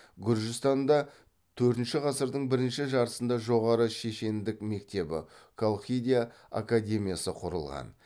гүржістанда төртінші ғасырдың бірінші жартысында жоғары шешендік мектебі колхида академиясы құрылған